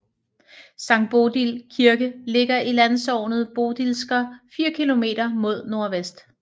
Sankt Bodil Kirke ligger i landsognet Bodilsker 4 km mod nordvest